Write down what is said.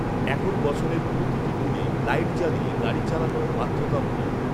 এখন বছরের প্রতিটি দিনে লাইট জ্বালিয়ে গাড়ি চালানো বাধ্যতামূলক।